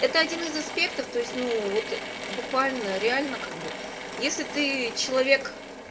это один из аспектов то есть ну вот буквально реально как бы если ты человек